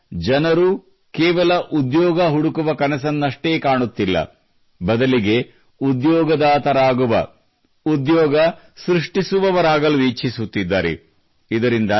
ಇಲ್ಲೀಗ ಜನರು ಕೇವಲ ಉದ್ಯೋಗ ಹುಡುಕುವ ಕನಸನ್ನಷ್ಟೇ ಕಾಣುತ್ತಿಲ್ಲ ಬದಲಿಗೆ ಉದ್ಯೋಗದಾತರಾಗುವ ಉದ್ಯೋಗ ಸೃಷ್ಟಿಸುವವರಾಗಲು ಇಚ್ಛಿಸುತ್ತಿದ್ದಾರೆ